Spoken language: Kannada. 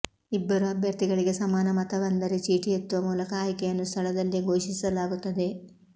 ಇಬ್ಬರು ಅಭ್ಯರ್ಥಿಗಳಿಗೆ ಸಮಾನ ಮತ ಬಂದರೆ ಚೀಟಿ ಎತ್ತುವ ಮೂಲಕ ಆಯ್ಕೆಯನ್ನು ಸ್ಥಳದಲ್ಲೇ ಘೋಷಿಸಲಾಗುತ್ತದೆ